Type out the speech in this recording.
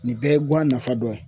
Nin bɛɛ ye guwan nafa dɔ ye.